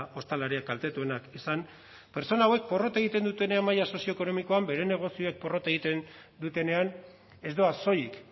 ostalariak kaltetuenak izan pertsona hauek porrot egiten dutenean maila sozioekonomikoan bere negozioek porrot egiten dutenean ez doaz soilik